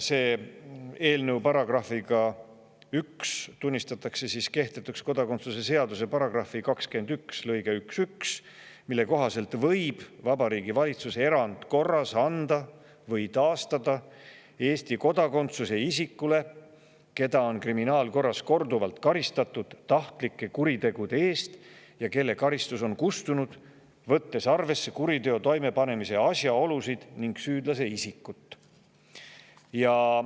Nimelt, eelnõu §‑ga 1 tunnistatakse kehtetuks kodakondsuse seaduse § 21 lõige 11, mille kohaselt võib Vabariigi Valitsus erandkorras anda või taastada Eesti kodakondsuse isikule, keda on kriminaalkorras korduvalt karistatud tahtlike kuritegude eest ja kelle on kustunud, võttes arvesse kuriteo toimepanemise asjaolusid ning süüdlase isikut.